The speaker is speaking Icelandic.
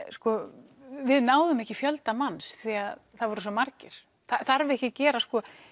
við náðum ekki fjölda manns því það voru svo margir þarf ekki að gera